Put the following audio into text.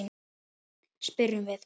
spyrjum við.